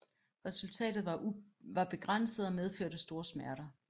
Resultatet var begrænset og medførte store smerter